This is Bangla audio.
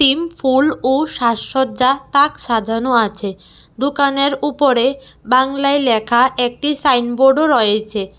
ইম্ফল ও সাজসজ্জা তাক সাজানো আছে দোকানের উপরে বাংলায় ল্যাখা একটি সাইনবোর্ডও রয়েছে।